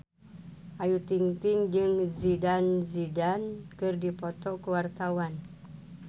Ayu Ting-ting jeung Zidane Zidane keur dipoto ku wartawan